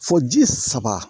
Fo ji saba